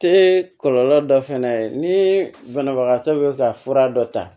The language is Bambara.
Te kɔlɔlɔ dɔ fɛnɛ ye ni banabagatɔ bɛ ka fura dɔ ta